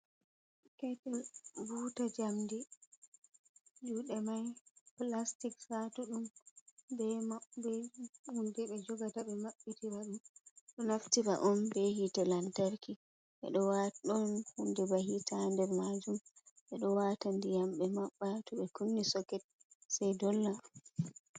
Ketil buuta njamdi juɗe mai plastic satuɗum hunde be jogata be mabbitira ɗum ɗo naftira on be hite lantarki ɓe ɗo waata ɗon hunde ba hiita nder majum ɓe ɗo wata ndiyam ɓe maɓɓa to ɓe kunni soket sei dolla.